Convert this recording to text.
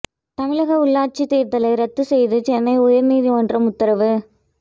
தமிழக உள்ளாட்சி தேர்தலை ரத்து செய்து சென்னை உயர் நீதிமன்றம் உத்தரவு